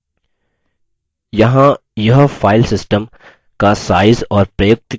यहाँ यह filesystem का size और प्रयुक्त की हुई जगह दर्शाएगा